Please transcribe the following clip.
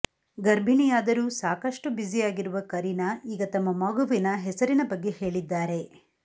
ಗರ್ಭಿಣಿಯಾದರೂ ಸಾಕಷ್ಟು ಬ್ಯುಸಿಯಾಗಿರುವ ಕರೀನಾ ಈಗ ತಮ್ಮ ಮಗುವಿನ ಹೆಸರಿನ ಬಗ್ಗೆ ಹೇಳಿದ್ದಾರೆ